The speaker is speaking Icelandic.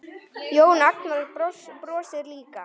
Jón Agnar brosir líka.